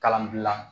Kalanbila